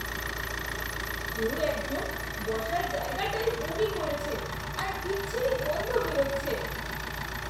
কেউ একজন বসার জায়গাটায় বমি করেছে আর বিচ্ছিরী গন্ধ বেরোচ্ছে।